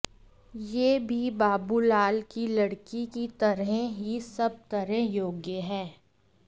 यह भी बाबूलाल की लड़की की तरह ही सब तरह योग्य है